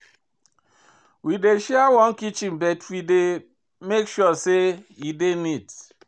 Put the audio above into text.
We dey share one kitchen but we dey make sure sey e dey neat.